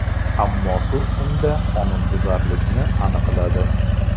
Ammo sud unda qonunbuzarlikni aniqladi.